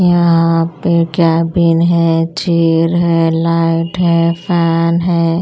यहाँाँ पे कैबिन है चेयर है लाइट है फैन है।